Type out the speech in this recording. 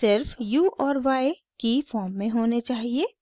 सिर्फ u और y की फॉर्म में होने चाहिए